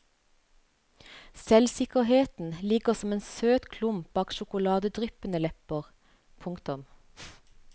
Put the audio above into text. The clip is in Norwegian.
Selvsikkerheten ligger som en søt klump bak sjokoladedryppende lepper. punktum